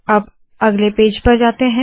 अब अगले पेज पर जाते है